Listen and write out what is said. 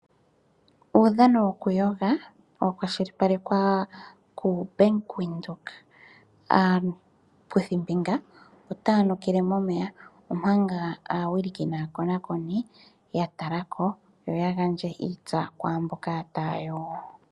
Uudhano wokuyoga mbuno owa kwashilipalekwa kuBank Windhoek. Aakuthimbinga otaya nukile momeya omanga aawiliki naakonakoni ya tala ko opo ya gandje iitsa kwaamboka taya yogo.